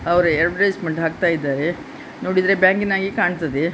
ಅವರ ಅದ್ವೆರ್ಟಿಸೆಮೆಂಟ್ ಹಾಕ್ತಾ ಇದ್ದಾರೆ ನೋಡಿದ್ರೆ ಬ್ಯಾಂಕಿನಾಗೆ ಕಾಣ್ತಾ ಇದೆ.